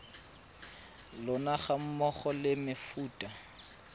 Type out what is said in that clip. lona ga mmogo le mefuta